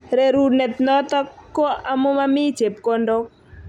Rerunet notok ko amu mami chebkondok.